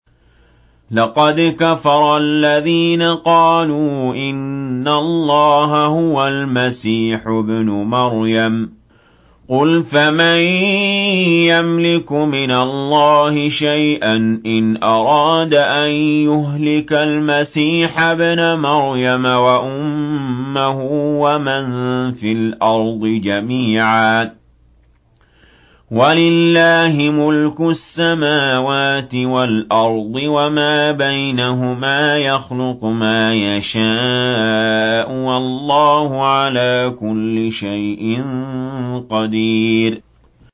لَّقَدْ كَفَرَ الَّذِينَ قَالُوا إِنَّ اللَّهَ هُوَ الْمَسِيحُ ابْنُ مَرْيَمَ ۚ قُلْ فَمَن يَمْلِكُ مِنَ اللَّهِ شَيْئًا إِنْ أَرَادَ أَن يُهْلِكَ الْمَسِيحَ ابْنَ مَرْيَمَ وَأُمَّهُ وَمَن فِي الْأَرْضِ جَمِيعًا ۗ وَلِلَّهِ مُلْكُ السَّمَاوَاتِ وَالْأَرْضِ وَمَا بَيْنَهُمَا ۚ يَخْلُقُ مَا يَشَاءُ ۚ وَاللَّهُ عَلَىٰ كُلِّ شَيْءٍ قَدِيرٌ